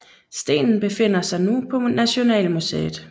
Stenen befinder sig nu på Nationalmuseet